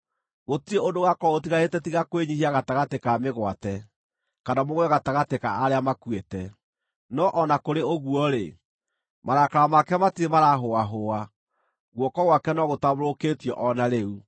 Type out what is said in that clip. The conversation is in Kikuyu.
Gũtirĩ ũndũ ũgaakorwo ũtigarĩte tiga kwĩnyiihia gatagatĩ ka mĩgwate, kana mũgũe gatagatĩ ka arĩa makuĩte. No o na kũrĩ ũguo-rĩ, marakara make matirĩ maraahũahũa, guoko gwake no gũtambũrũkĩtio o na rĩu.